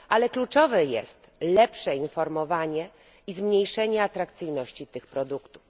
Kluczowe jest lepsze informowanie i zmniejszenie atrakcyjności tych produktów.